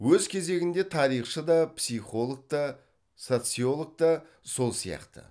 өз кезегінде тарихшы да психолог та социолог та сол сияқты